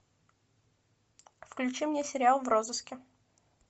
включи мне сериал в розыске